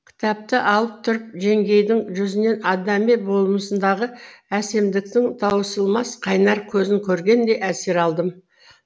кітапты алып тұрып жеңгейдің жүзінен адами болмысындағы әсемдіктің таусылмас қайнар көзін көргендей әсер алдым